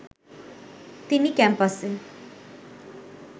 তিনি ক্যাম্পাসে